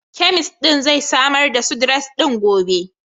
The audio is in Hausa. Kemist din zai samar da Sudrez ɗin gobe.